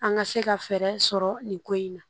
An ka se ka fɛɛrɛ sɔrɔ nin ko in na